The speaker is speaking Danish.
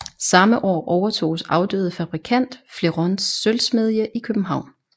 Samme år overtoges afdøde fabrikant Flerons sølvsmedie i København